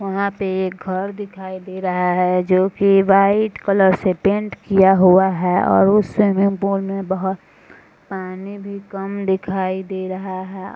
वहाँ पे एक घर दिखाई दे रहा है जोकि वाइट कलर से पेंट किया हुआ है और उस स्विमिंग पूल में बोहोत पानी भी कम दिखाई दे रहा है।